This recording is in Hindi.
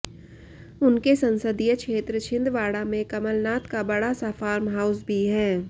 उनके संसदीय क्षेत्र छिंदवाड़ा में कमलनाथ का बड़ा सा फार्म हाउस भी है